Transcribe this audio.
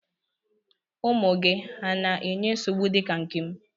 Ụmụ gị hà na-enye nsogbu dị ka nke m?